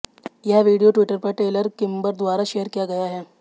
यह video Twitter पर Taylor Kimber द्वारा शेयर किया गया है